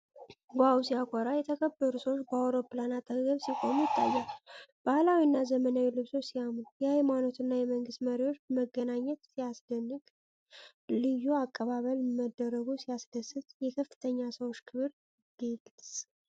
ዋው ሲያኮራ! የተከበሩ ሰዎች በአውሮፕላን አጠገብ ሲቆሙ ይታያሉ። ባህላዊና ዘመናዊ ልብሶች ሲያምሩ! የሃይማኖትና የመንግስት መሪዎች መገናኘት ሲያስደንቅ! ልዩ አቀባበል መደረጉ ሲያስደስት! የከፍተኛ ሰዎች ክብር ግልፅ!